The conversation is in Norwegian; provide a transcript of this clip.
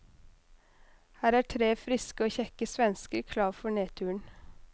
Her er tre friske og kjekke svensker klar for nedturen.